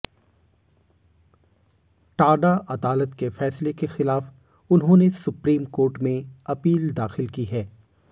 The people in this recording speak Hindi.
टाडा अदालत के फैसले के खिलाफ उन्होंने सुप्रीम कोर्ट में अपील दाखिल की है